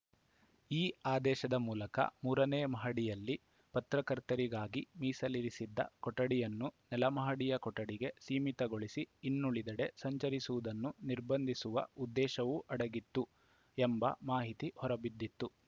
ಈ ಆದೇಶದ ಮೂಲಕ ಮೂರನೇ ಮಹಡಿಯಲ್ಲಿ ಪತ್ರಕರ್ತರಿಗಾಗಿ ಮೀಸಲಿರಿಸಿದ್ದ ಕೊಠಡಿಯನ್ನು ನೆಲಮಹಡಿಯ ಕೊಠಡಿಗೆ ಸೀಮಿತಗೊಳಿಸಿ ಇನ್ನುಳಿದೆಡೆ ಸಂಚರಿಸುವುದನ್ನು ನಿರ್ಬಂಧಿಸುವ ಉದ್ದೇಶವೂ ಅಡಗಿತ್ತು ಎಂಬ ಮಾಹಿತಿ ಹೊರಬಿದ್ದಿತ್ತು